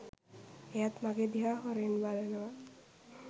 එයත් මගෙ දිහා හොරෙන් බලනවා